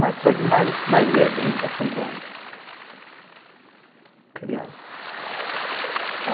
Mas só que mais, mais é brinca, assim, com criança.